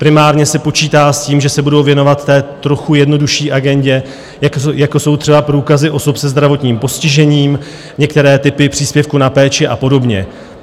Primárně se počítá s tím, že se budou věnovat té trochu jednodušší agendě, jako jsou třeba průkazy osob se zdravotním postižením, některé typy příspěvku na péči a podobně.